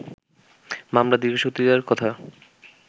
মামলার দীর্ঘসূত্রিতার কথা